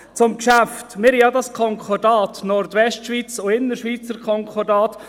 Zum Geschäft: Wir haben ja das Konkordat Nordwestschweiz und das Innerschweizer Konkordat.